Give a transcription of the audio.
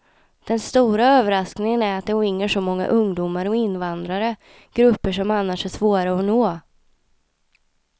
Den stora överraskningen är att det ringer så många ungdomar och invandrare, grupper som annars är svåra att nå.